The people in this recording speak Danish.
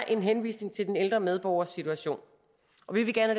en henvisning til den ældre medborgers situation og vi vil gerne